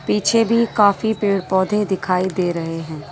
पीछे भी काफी पेड़-पौधे दिखाई दे रहे हैं।